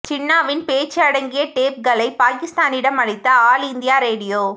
ஜின்னாவின் பேச்சு அடங்கிய டேப்களை பாகிஸ்தானிடம் அளித்த ஆல் இந்தியா ரேடியோ